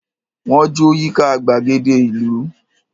Wọ́n jó yíká gbàgede ìlú.